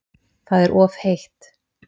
Það er of heitt